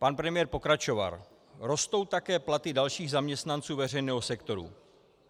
Pan premiér pokračoval: Rostou také platy dalších zaměstnanců veřejného sektoru.